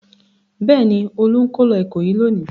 Bẹ́ẹ̀ ni, Olú ń kó lọ Ìkòyí lónìí.